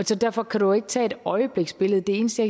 så derfor kan du jo ikke tage et øjebliksbillede det eneste